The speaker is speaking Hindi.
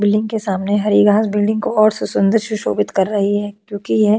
बिल्डिंग के सामने हरी घास बिल्डिंग को और सुन्दर सुशोभित कर रही है क्यूंकि ये --